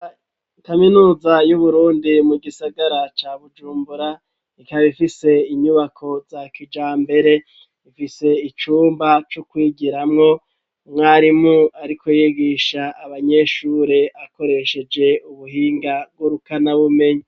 Kaminuza yu Burundi mu gisagara ca Bujumbura ikaba ifise inyubako za kijambere ifise icumba co kwigiramwo umwarimu ariko yigisha abanyeshure akoresheje ubuhinga ngurukanabumenya.